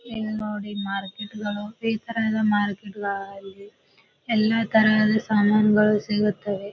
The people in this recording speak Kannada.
ಇಲ್ಲಿ ನೋಡ್ರಿ ಮಾರ್ಕೆಟ್ ಗಳು ಈ ತರ ಎಲ್ಲಾ ಮಾರ್ಕೆಟ್ ಗಳಲ್ಲಿ ಇಲ್ಲಿ ಎಲ್ಲಾ ತರಹದ ಸಾಮಾನುಗಳು ಸಿಗುತ್ತವೆ.